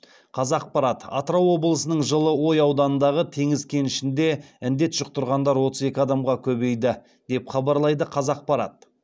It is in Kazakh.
қазақпарат атырау облысының жылыой ауданындағы теңіз кенішінде індет жұқтырғандар отыз екі адамға көбейді деп хабарлайды қазақпарат